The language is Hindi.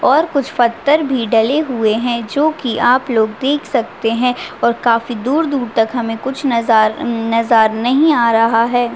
और कुछ पत्थर भी डले हुए है जो की आप लोग देख सकते है और काफी दूर-दूर तक हमे कुछ नजारा नज़र नही आ रहा है।